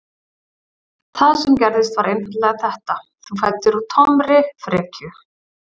Það sem gerðist var einfaldlega þetta: Þú fæddir úr tómri frekju.